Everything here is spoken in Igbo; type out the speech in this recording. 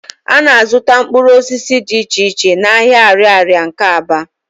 A na-azụta mkpụrụ osisi di iche iche n'ahịa Ạrịarịa nke Aba.